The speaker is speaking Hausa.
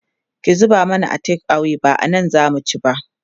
ki zuba mana a take away ba anan zamu ci ba